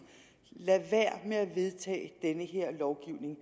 lad være med at vedtage denne lovgivning